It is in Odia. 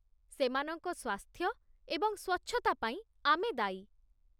ସେମାନଙ୍କ ସ୍ୱାସ୍ଥ୍ୟ ଏବଂ ସ୍ୱଚ୍ଛତା ପାଇଁ ଆମେ ଦାୟୀ